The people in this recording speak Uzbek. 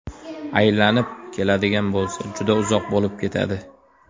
Aylanib keladigan bo‘lsa, juda uzoq bo‘lib ketadi.